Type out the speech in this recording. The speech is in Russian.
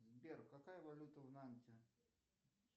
сбер какая валюта в нанте